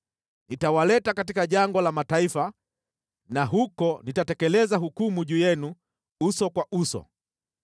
Nitawaleta katika jangwa la mataifa na huko nitatekeleza hukumu juu yenu uso kwa uso.